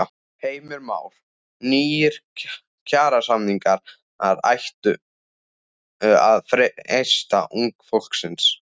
Heimir Már: Nýir kjarasamningar ættu að freista unga fólksins?